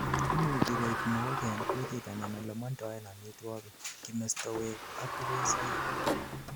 imuchi koib mook en gutit anan olemandoen amitwogik, kimestowek ak kubesoik